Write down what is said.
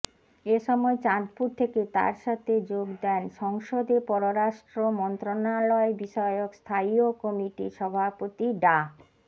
এ সময় চাঁদপুর থেকে তাঁর সাথে যোগ দেন সংসদে পররাষ্ট্র মন্ত্রণালয়বিষয়ক স্থায়ীয় কমিটির সভাপতি ডা